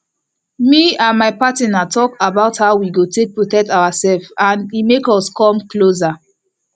me and my partner talk about how we go take protect ourself and e make us come closer